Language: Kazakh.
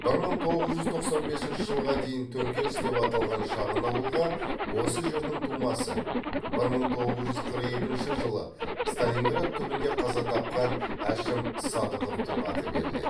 бір мың тоғыз жүз тоқсан бесінші жылға дейін төңкеріс деп аталған шағын ауылға осы жердің тумасы бір мың тоғыз жүз қырық екінші жылы сталинград түбінде қаза тапқан әшім садықовтың аты беріледі